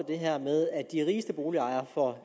det her med at de rigeste boligejere får